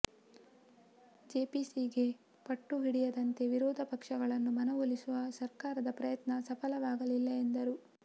ಜೆಪಿಸಿಗೆ ಪಟ್ಟು ಹಿಡಿಯದಂತೆ ವಿರೋಧ ಪಕ್ಷಗಳನ್ನು ಮನವೊಲಿಸುವ ಸರ್ಕಾರದ ಪ್ರಯತ್ನ ಸಫಲವಾಗಲಿಲ್ಲ ಎಂದರು